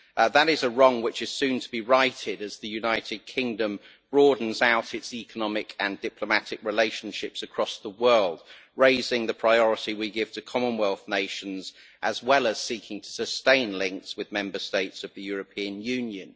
That is a wrong which is soon to be righted, as the United Kingdom broadens its economic and diplomatic relationships across the world, raising the priority we give to Commonwealth nations, as well as seeking to sustain links with Member States of the European Union.